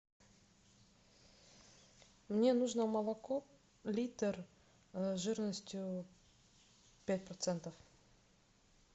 мне нужно молоко литр жирностью пять процентов